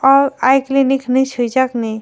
aw i kilinik hinui sijak ni.